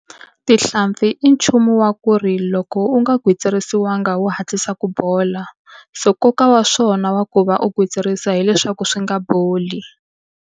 Tihlampfi i nchumu wa ku ri loko u nga gwitsirisiwangi wu hatlisa ku bola. So nkoka wa swona wa ku va u gwitsirisa hileswaku swi nga boli.